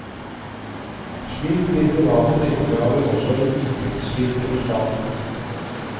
Slik blir private pengegaver også en inntektskilde for staten.